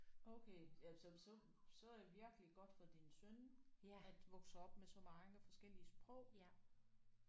Okay ja så så så er virkelig godt for din søn at vokse op med så mange forskellige sprog